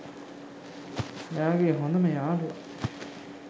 එයාගේ හොඳම යාලුව